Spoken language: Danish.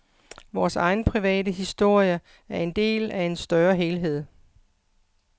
Vor egen private historie er en del af en større helhed.